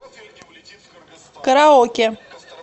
караоке